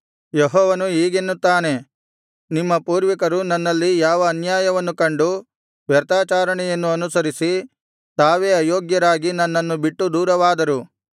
ಯೆಹೋವನು ಹೀಗೆನ್ನುತ್ತಾನೆ ನಿಮ್ಮ ಪೂರ್ವಿಕರು ನನ್ನಲ್ಲಿ ಯಾವ ಅನ್ಯಾಯವನ್ನು ಕಂಡು ವ್ಯರ್ಥಾಚರಣೆಯನ್ನು ಅನುಸರಿಸಿ ತಾವೇ ಅಯೋಗ್ಯರಾಗಿ ನನ್ನನ್ನು ಬಿಟ್ಟು ದೂರವಾದರು